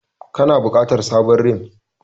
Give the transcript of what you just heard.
Kana bukatar sabon rim.